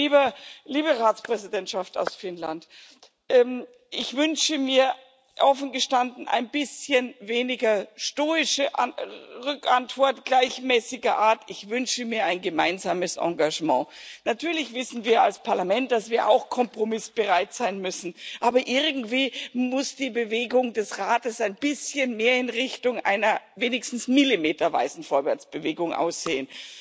Und liebe Ratspräsidentschaft aus Finnland Ich wünsche mir offen gestanden ein bisschen weniger stoische Rückantwort gleichmäßiger Art, ich wünsche mir ein gemeinsames Engagement. Natürlich wissen wir als Parlament, dass wir auch kompromissbereit sein müssen, aber irgendwie muss die Bewegung des Rates ein bisschen mehr in Richtung einer wenigstens millimeterweisen Vorwärtsbewegung gehen.